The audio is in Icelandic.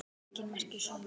Engin merki séu um leka